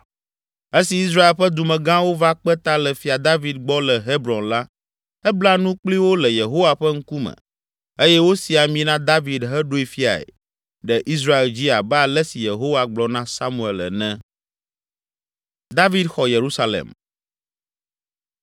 Esi Israel ƒe dumegãwo va kpe ta le Fia David gbɔ le Hebron la, ebla nu kpli wo le Yehowa ƒe ŋkume eye wosi ami na David heɖoe fiae ɖe Israel dzi abe ale si Yehowa gblɔ na Samuel ene.